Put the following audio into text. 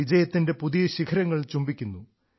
വിജയത്തിന്റെ പുതിയ ശിഖരങ്ങൾ ചുംബിക്കുന്നു